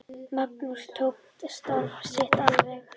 Magnús tók starf sitt alvarlega.